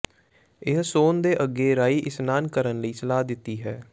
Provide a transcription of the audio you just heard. ਇਹ ਸੌਣ ਦੇ ਅੱਗੇ ਰਾਈ ਇਸ਼ਨਾਨ ਕਰਨ ਲਈ ਸਲਾਹ ਦਿੱਤੀ ਹੈ